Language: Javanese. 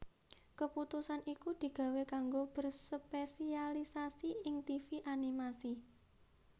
Keputusan iku digawé kanggo berspesialisasi ing tivi animasi